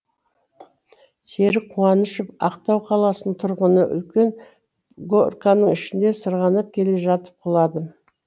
серік қуанышов ақтау қаласының тұрғыны үлкен горканың ішінде сырғанап келе жатып құладым